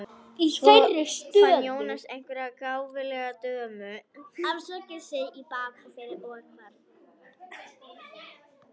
Svo fann Jónas einhverja gáfulega dömu, afsakaði sig í bak og fyrir og hvarf.